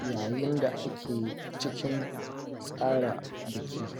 yayin da ake cikin tsara biki